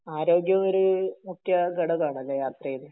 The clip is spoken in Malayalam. ആരോഗ്യം ഒരു മുഖ്യ ഘടകം ആണല്ലേ യാത്രയില്